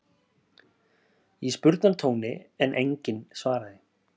í spurnartóni en enginn svaraði.